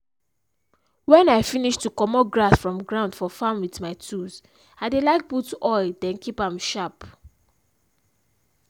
when i finish to commot grass from ground for farm with my tools i dey like put oil then keep am sharp.